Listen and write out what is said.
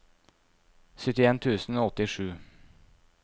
syttien tusen og åttisju